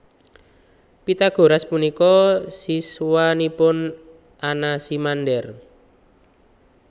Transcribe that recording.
Pythagoras punika siswanipun Anaximander